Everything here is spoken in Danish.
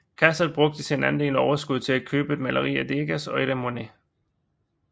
Cassatt brugte sin andel af overskuddet til at købe et maleri af Degas og et af Monet